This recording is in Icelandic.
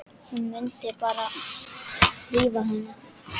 Hún mundi bara rífa hana.